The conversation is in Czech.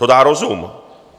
To dá rozum.